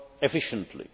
efficiently.